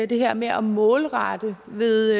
det her med at målrette ved